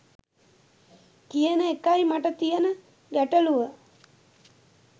කියන එකයි මට තියන ගැටළුව